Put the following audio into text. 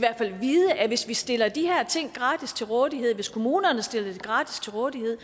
vide at hvis vi stiller de her ting gratis til rådighed hvis kommunerne stiller det gratis til rådighed